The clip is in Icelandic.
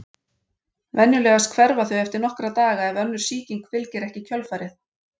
Venjulegast hverfa þau eftir nokkra daga ef önnur sýking fylgir ekki í kjölfarið.